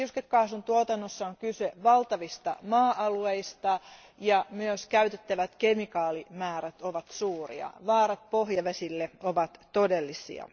Liuskekaasun tuotannossa on kyse valtavista maa alueista ja myös käytettävät kemikaalimäärät ovat suuria. Vaarat pohjavesille ovat todellisia.